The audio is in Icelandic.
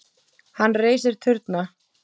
Hann reisir turna.